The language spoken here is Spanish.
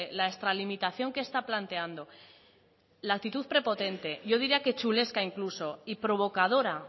la extralimitación que está planteando la actitud prepotente yo diría que chulesca incluso y provocadora